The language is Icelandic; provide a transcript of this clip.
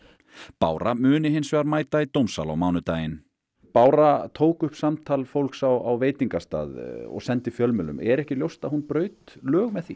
bára muni hins vegar mæta í dómsal á mánudaginn bára tók upp samtal fólks inni á veitingastað og sendi fjölmiðlum er ekki ljóst að hún braut með því